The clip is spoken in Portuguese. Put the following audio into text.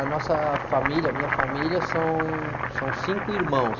A nossa família, a minha família, são, são cinco irmãos.